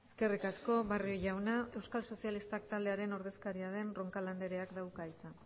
eskerrik asko barrio jauna euskal sozialistak taldearen ordezkaria den roncal andreak dauka hitza